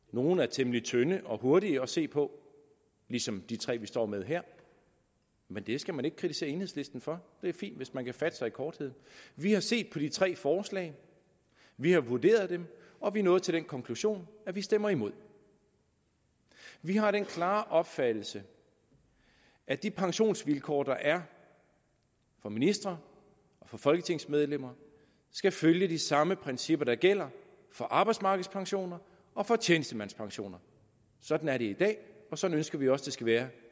nogle er temmelig tynde og hurtige at se på ligesom de tre vi står med her men det skal man ikke kritisere enhedslisten for det er fint hvis man kan fatte sig i korthed vi har set på de tre forslag vi har vurderet dem og vi er nået til den konklusion at vi stemmer imod vi har den klare opfattelse at de pensionsvilkår der er for ministre og folketingsmedlemmer skal følge de samme principper der gælder for arbejdsmarkedspensioner og tjenestemandspensioner sådan er det i dag og sådan ønsker vi også det skal være